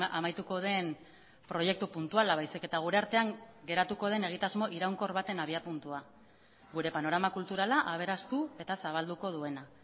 amaituko den proiektu puntuala baizik eta gure artean geratuko den egitasmo iraunkor baten abiapuntua gure panorama kulturala aberastu eta zabalduko duena